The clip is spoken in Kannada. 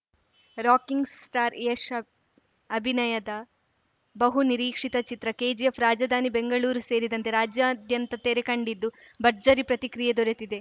ರಾಕಿಂಗ್‌ ಸ್ಟಾರ್‌ ಯಶ್‌ ಅಬ್ ಅಭಿನಯದ ಬಹು ನಿರೀಕ್ಷಿತ ಚಿತ್ರ ಕೆಜಿಎಫ್‌ ರಾಜಧಾನಿ ಬೆಂಗಳೂರು ಸೇರಿದಂತೆ ರಾಜ್ಯಾದ್ಯಂತ ತೆರೆ ಕಂಡಿದ್ದು ಭರ್ಜರಿ ಪ್ರತಿಕ್ರಿಯೆ ದೊರೆತಿದೆ